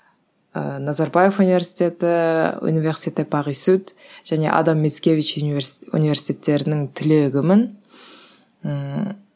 ыыы назарбаев университеті және адам мицкевич университеттерінің түлегімін ііі